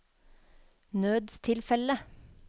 nødstilfelle